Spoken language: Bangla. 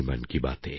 মন কি বাতএ